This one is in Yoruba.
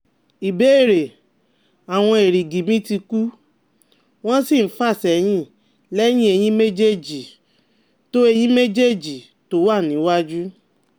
Ìbéèrè: Awon erigi mi ti ku, won si n fasehin lẹ́yìn eyin méjèèjì tó eyin méjèèjì tó wà níwájú